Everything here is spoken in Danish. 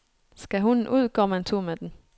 Skal hunden ud, går man tur med den.